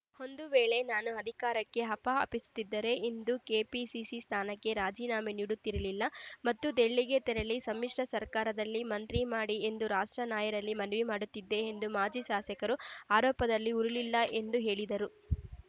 ಒಂದು ವೇಳೆ ನಾನು ಅಧಿಕಾರಕ್ಕೆ ಹಪಾಹಪಿಸುತ್ತಿದ್ದರೆ ಇಂದು ಕೆಪಿಸಿಸಿ ಸ್ಥಾನಕ್ಕೆ ರಾಜೀನಾಮೆ ನೀಡುತ್ತಿರಲಿಲ್ಲ ಮತ್ತು ದೆಲಿಗೆ ತೆರಳಿ ಸಮ್ಮಿಶ್ರ ಸರ್ಕಾರದಲ್ಲಿ ಮಂತ್ರಿ ಮಾಡಿ ಎಂದು ರಾಷ್ಟ್ರ ನಾಯರಲ್ಲಿ ಮನವಿ ಮಾಡುತ್ತಿದ್ದೆ ಎಂದು ಮಾಜಿ ಶಾಸಕರ ಆರೋಪದಲ್ಲಿ ಹುರುಳಿಲ್ಲ ಎಂದು ಹೇಳಿದರು